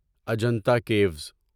Ajanta Kiwis